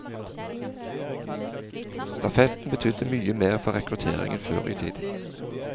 Stafetten betydde mye mer for rekrutteringen før i tiden.